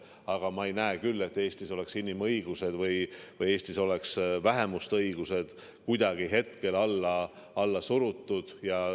Aga ma ei näe küll, et Eestis oleks inimõigused või vähemuste õigused kuidagi hetkel alla surutud.